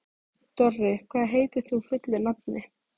Dorri, hvað heitir þú fullu nafni?